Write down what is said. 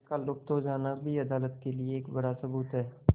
उनका लुप्त हो जाना भी अदालत के लिए एक बड़ा सबूत है